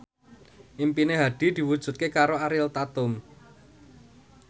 impine Hadi diwujudke karo Ariel Tatum